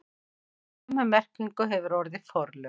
Sömu merkingu hefur orðið forlög.